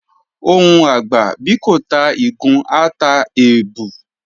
Ohùn àgbà, bí kò ta ìgún, á ta èbù.